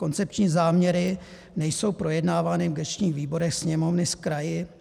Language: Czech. Koncepční záměry nejsou projednávány v gesčních výborech Sněmovny s kraji.